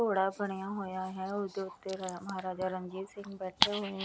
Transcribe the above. ਘੋੜਾ ਬਣਿਆ ਹੋਇਆ ਹੈ ਉਹਦੇ ਉੱਤੇ ਮਹਾਰਾਜਾ ਰਣਜੀਤ ਸਿੰਘ ਬੈਠੇ ਹੋਏ --